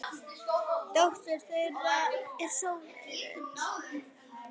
Dóttir þeirra er Sóley Rut.